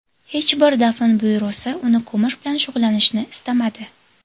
Hech bir dafn byurosi uni ko‘mish bilan shug‘ullanishni istamadi.